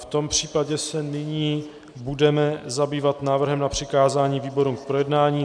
V tom případě se nyní budeme zabývat návrhem na přikázání výborům k projednání.